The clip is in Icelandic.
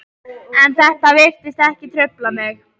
En þetta virtist ekki trufla mig.